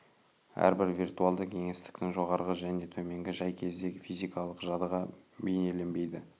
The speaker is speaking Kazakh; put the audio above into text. әрбір виртуалды кеңістіктің жоғарғы және төменгі жай кезде физикалық жадыға бейнеленбейді